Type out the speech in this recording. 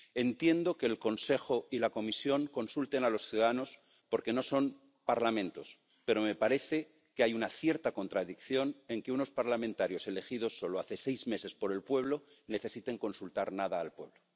Entiendo que el Consejo y la Comisión consulten a los ciudadanos porque no son Parlamentos, pero me parece que hay una cierta contradicción en que unos parlamentarios elegidos solo hace seis meses por el pueblo necesiten consultar nada al pueblo.